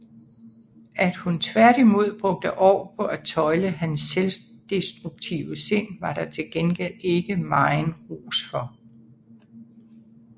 At hun tværtimod brugte år på at tøjle hans selvdestruktive sind var der til gengæld ikke megen ros for